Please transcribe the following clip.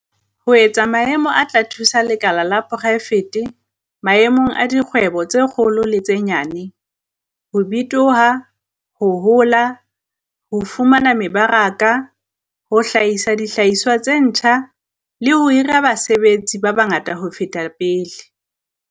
"ho etsa maemo a tla thusa lekala la poraefete - maemong a dikgwebo tse kgolo le tse nyenyane - ho bitoha, ho hola, ho fumana mebaraka, ho hlahisa dihlahiswa tse ntjha, le ho hira basebetsi ba bangata ho feta pele."